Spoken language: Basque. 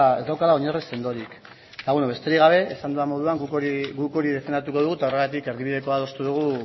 ez daukala oinarri sendorik eta beno besterik gabe esan dudan moduan guk hori defendatuko dugu eta horregatik erdibidekoa adostu dugu